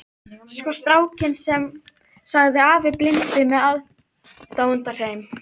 Sko strákinn sagði afi blindi með aðdáunarhreim.